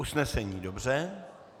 Usnesení, dobře.